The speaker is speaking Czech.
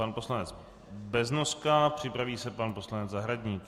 Pan poslanec Beznoska, připraví se pan poslanec Zahradník.